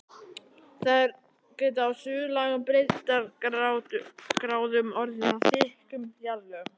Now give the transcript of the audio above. Þær geta á suðlægum breiddargráðum orðið að þykkum jarðlögum.